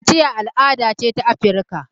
Kaciya al'ada ce ta Afirika.